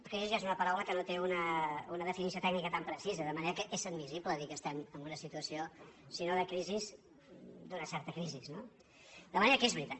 crisi és una paraula que no té un definició tècni·ca tan precisa de manera que és admissible dir que estem en una situació si no de crisi d’una certa crisi no de manera que és veritat